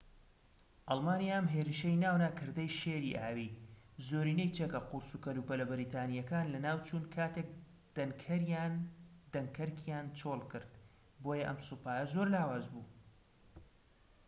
ئەلمانیا ئەم هێرشەی ناونا کردەی شێری ئاوی زۆرینەی چەکە قورس و کەلوپەلە بەریتانیەکان لەناوچوون کاتێك دەنکەرکیان چۆڵ کرد بۆیە ئەم سوپایە زۆر لاواز بوو